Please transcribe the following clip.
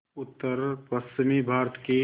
उत्तरपश्चिमी भारत की